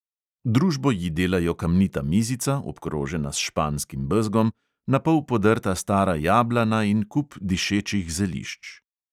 Družbo ji delajo kamnita mizica, obkrožena s španskim bezgom, na pol podrta stara jablana in kup dišečih zelišč.